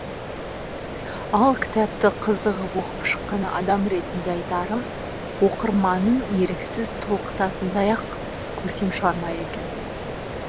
ал кітапты қызығып оқып шыққан адам ретінде айтарым оқырманын еріксіз толқытатындай ақ көркем шығарма екен